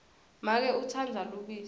make utsandza lubisi